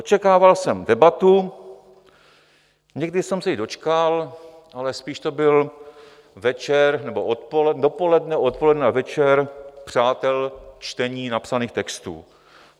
Očekával jsem debatu, někdy jsem se i dočkal, ale spíš to byl večer nebo dopoledne, odpoledne a večer přátel čtení napsaných textů.